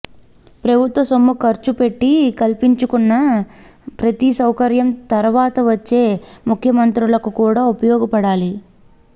ప్రభుత్వ సొమ్ము ఖర్చు పెట్టి కల్పించుకున్న ప్రతి సౌకర్యం తర్వాత వచ్చే ముఖ్యమంత్రులకు కూడా ఉపయోగపడాలి